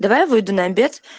давай я выйду на обед